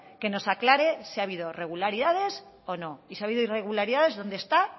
que nos aclare si ha habido irregularidades o no y si ha habido irregularidades dónde están